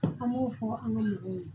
An b'o fɔ an ka mɔgɔw ye